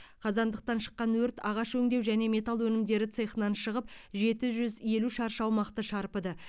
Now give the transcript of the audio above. қазандықтан шыққан өрт ағаш өңдеу және металл өнімдері цехынан шығып жеті жүз елу шаршы аумақты шарпыды